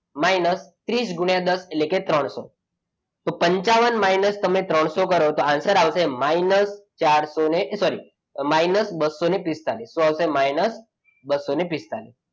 minus ત્રીસ ગુણ્યા દસ એટલે કે ત્રણસો તો પંચાવન minus ત્રણસો કરો તો answer આવશે minus ચારસો sorry minus બસો પિસ્તાળીસ શું આવશે બસો પિસ્તાળીસ.